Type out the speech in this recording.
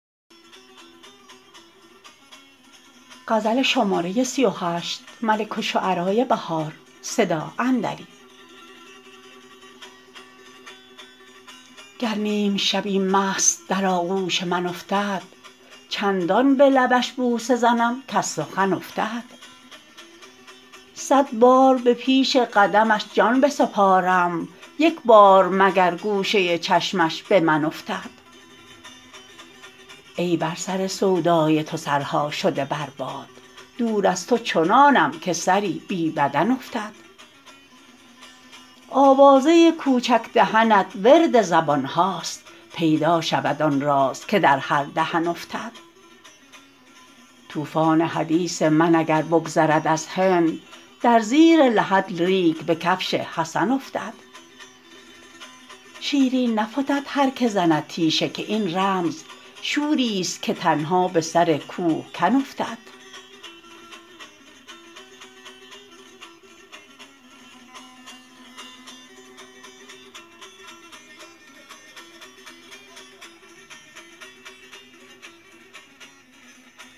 گر نیم شبی مست در آغوش من افتد چندان به لبش بوسه زنم کز سخن افتد صد بار به پیش قدمش جان بسپارم یکبار مگر گوشه چشمش به من افتد ای بر سر سودای تو سرها شده بر باد دور از تو چنانم که سری بی بدن افتد آوازه کوچک دهنت ورد زبان هاست پیدا شود آن راز که در هر دهن افتد طوفان حدیث من اگر بگذرد از هند در زیر لحد ریگ به کفش حسن افتد شیرین نفتد هرکه زند تیشه که این رمز شوری است که تنها به سرکوهکن افتد